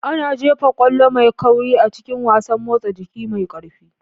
Ana jefa ƙwallo mai kauri a cikin wasan motsa jiki mai ƙarfi.